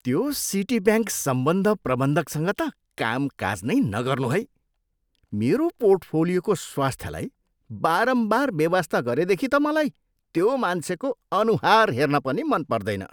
त्यो सिटीब्याङ्क सम्बन्ध प्रबन्धकसँग त कामकाज नै नगर्नु है! मेरो पोर्टफोलियोको स्वास्थ्यलाई बारम्बार बेवास्ता गरेदेखि त मलाई त्यो मान्छेको अनुहार हेर्न पनि मन पर्दैन।